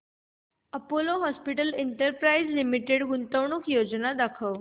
Apollo hospitals enterprise limited गुंतवणूक योजना दाखव